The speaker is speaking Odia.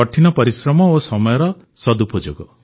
କଠିନ ପରିଶ୍ରମ ଓ ସମୟର ଠିକ୍ ଉପଯୋଗ